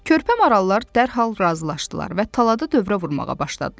Körpə marallar dərhal razılaşdılar və talada dövrə vurmağa başladılar.